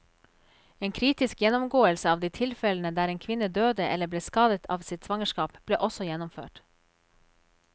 En kritisk gjennomgåelse av de tilfellene der en kvinne døde eller ble skadet av sitt svangerskap, ble også gjennomført.